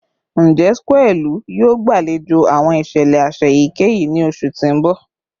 Njẹ square ilu yoo gbalejo awọn iṣẹlẹ aṣa eyikeyi ni oṣu ti n bọ?